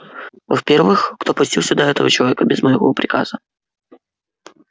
во-первых кто пустил сюда этого человека без моего приказа